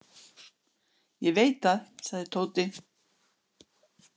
Ég veit það, sagði Tóti.